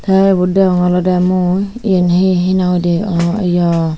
te ibot deonge olode mui yan he nang hoide aw ya.